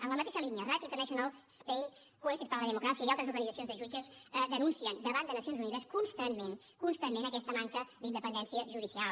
en la mateixa línia rights international spain jueces para la democracia i altres organitzacions de jutges denuncien davant de nacions unides constantment constantment aquesta manca d’independència judicial